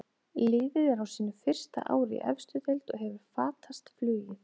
Liðið er á sínu fyrsta ári í efstu deild og hefur fatast flugið.